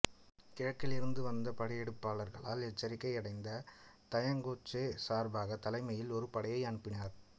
கிழக்கிலிருந்து வந்த படையெடுப்பாளர்களால் எச்சரிக்கை அடைந்த தயங் கோக்சே சப்ரக் தலைமையில் ஒரு படையை அனுப்பினார்